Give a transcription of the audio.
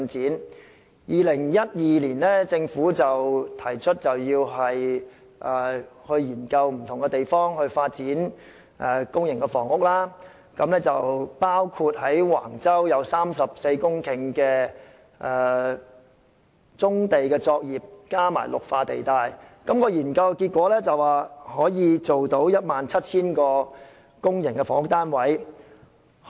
政府於2012年提出要覓地發展公營房屋，而橫洲有34公頃棕地及綠化地帶，研究結果顯示可以提供 17,000 個公營房屋單位。